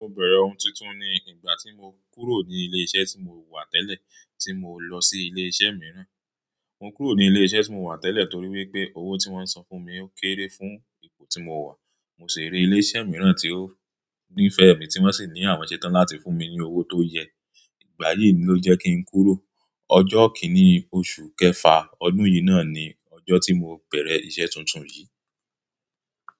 Mo bẹ̀rẹ̀ ọ̀ún tuntun ni ìgbà tí mo kúrò ní ilé-iṣẹ́ tí mo wà tẹ́lẹ̀ tí mo lọ sí ilé-iṣẹ́ mìíràn. Mo kúrò ní ilé-iṣẹ́ tí mo wà tẹ́lẹ̀ torí wípé owó tí wọ́n san fún mi o kéré fún ipò tí mo wà. Mo sì rí ilé-iṣẹ́ mìíràn tí ó nífẹ̀ẹ́ mi tí wọ́n sì ní àwọn ṣẹ́tan láti fún mi ní owó tó yẹ. Ìgbà yìí ló jẹ́ kí n kúrò. Ọjọ́ kínní oṣù kẹfà ọdún yìí ná ni ọjọ́ tí mo bẹ̀rẹ̀ iṣẹ́ tuntun yìí.